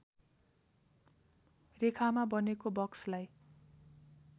रेखामा बनेको बक्सलाई